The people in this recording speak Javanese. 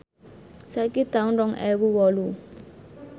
saiki taun rong ewu wolu